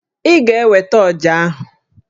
Ị ga-eweta ọjà ahụ!